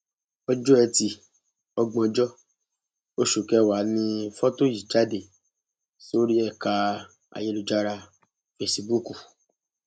ọjọ etí ògbóńjọ oṣù kẹwàá ni fọtò yìí jáde sórí ẹka ayélujára fẹsíbúùkù